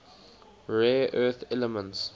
rare earth elements